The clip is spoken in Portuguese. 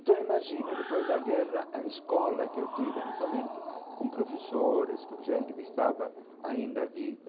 Então, imagina, depois da guerra, a escola que eu tive, não somente com professores, com gente que estava ainda viva.